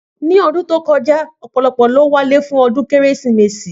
Ni ọdún tí ókojá ọ̀pọ̀lọpọ̀ ní o wálé fún ọdún kérésìmesì